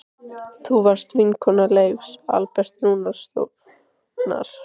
Þú varst vinkona Leifs Alberts Rúnarssonar.